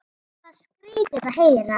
Þetta var skrýtið að heyra.